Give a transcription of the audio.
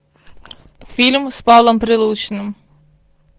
фильм с павлом прилучным